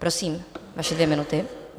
Prosím, vaše dvě minuty.